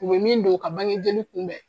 U be min don ka bange joli kun dɛ